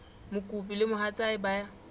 mokopi le mohatsa hae ba